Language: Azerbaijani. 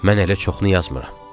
Mən hələ çoxunu yazmıram.